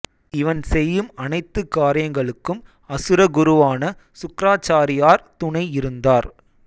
இவன் செய்யும் அனைத்து காரியங்களுக்கும் அசுர குருவான சுக்ராசாரியார் துணை இருந்தார்